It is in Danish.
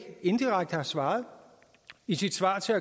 indirekte har svaret i sit svar til